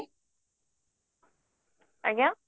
ଆଜ୍ଞା